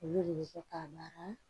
Olu de bɛ kɛ k'a baara